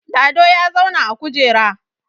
Lado ya zauna a kujera